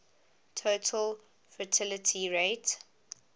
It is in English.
total fertility rate